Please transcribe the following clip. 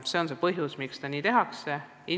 See on põhjus, miks seda tehakse.